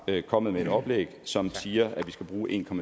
er kommet med et oplæg som siger at vi skal bruge en